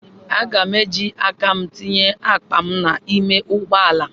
Aga m eji aka m tinye akpa m n'ime ụgbọ ala